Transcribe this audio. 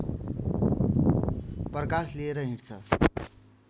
प्रकाश लिएर डिँड्छ